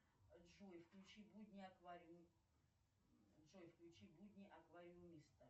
джой включи будни аквариум джой включи будни аквариумиста